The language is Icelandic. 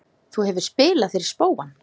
Þú hefur spilað fyrir spóann?